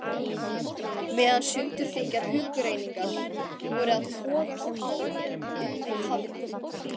Meðan sundurþykkar hugrenningar voru að togast á um mig hafði